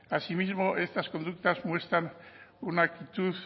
asimismo estas conductas muestran una actitud